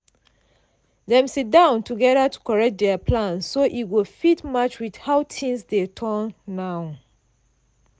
dem sit down together to correct their plan so e go fit match with how things dey turn now.